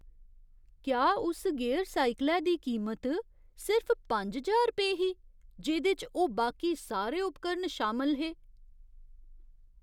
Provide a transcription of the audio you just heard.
क्या उस गियर साइकलै दी कीमत सिर्फ पंज ज्हार रपेऽ ही जेह्‌दे च ओह् बाकी सारे उपकरण शामल हे?